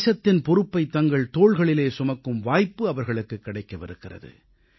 தேசத்தின் பொறுப்பைத் தங்கள் தோள்களிலே சுமக்கும் வாய்ப்பு அவர்களுக்கு கிடைக்கவிருக்கிறது